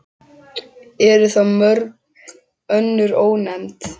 Eru þá mörg önnur ónefnd.